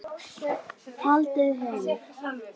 Haldið heim